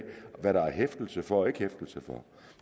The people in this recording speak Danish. hvad der er hæftelse for og ikke hæftelse for